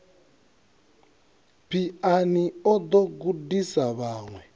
phiano o ḓo gudisa vhaṅwe